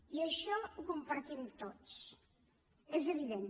i això ho compartim tots és evident